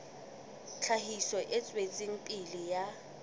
tlhahiso e tswetseng pele ya